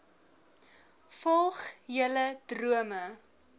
volg julle drome